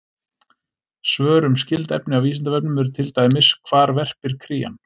Svör um skyld efni á Vísindavefnum eru til dæmis: Hvar verpir krían?